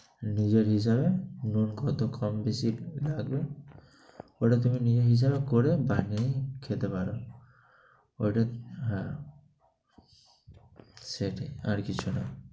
নিজের হিসাবে নুন কত কম-বেশি লাগবে, ওটা তুমি নিজের হিসাবে করে বানিয়ে খেতে পারো। ওটা হ্যাঁ, সেটাই, আর কিছু না।